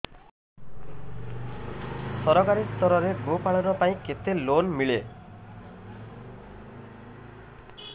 ସରକାରୀ ସ୍ତରରେ ଗୋ ପାଳନ ପାଇଁ କେତେ ଲୋନ୍ ମିଳେ